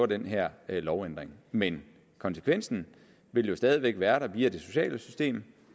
den her lovændring men konsekvensen vil jo stadig væk være der via det sociale system